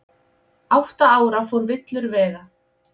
Átta ára fór villur vega